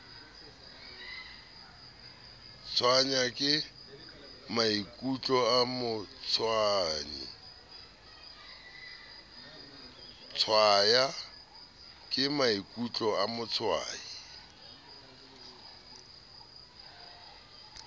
tshwaya ke maikutlo a motshwayi